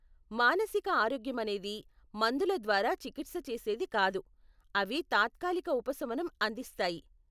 మానసిక ఆరోగ్యమనేది మందుల ద్వారా చికిత్స చేసేది కాదు, అవి తాత్కాలిక ఉపశమనం అందిస్తాయి.